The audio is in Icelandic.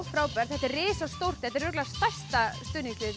frábært þetta er risastórt örugglega stærsta stuðningslið